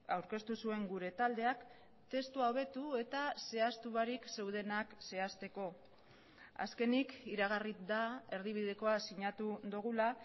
aurkeztu zuen gure taldeak testua hobetu eta zehaztu barik zeudenak zehazteko azkenik iragarri da erdibidekoa sinatu dugula